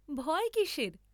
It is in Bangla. ভয় কিসের?